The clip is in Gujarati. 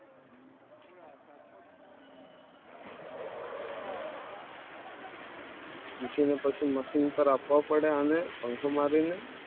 પછી machine પર આપવો પડે અને પંખો મારીને